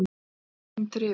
Fimmtán mínútur yfir